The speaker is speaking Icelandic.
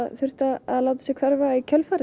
þurft að láta sig hverfa í kjölfarið